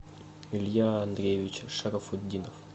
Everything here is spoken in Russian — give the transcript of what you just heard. илья андреевич шарафутдинов